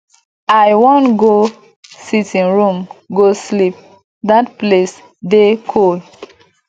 i wan go sitting room go sleep dat place dey cool